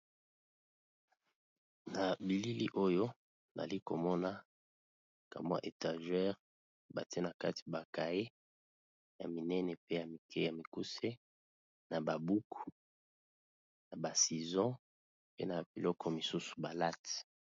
Na bilili oyo nali komona kamwa étagere batiye na kati ba kaye ya minene pe ya mike ya mikuse, na ba buku na ba ciseaux pe na biloko misusu ba latte.